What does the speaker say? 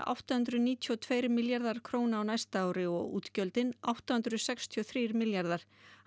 átta hundruð níutíu og tvö milljarðar króna á næsta ári og útgjöldin átta hundruð sextíu og þrír milljarðar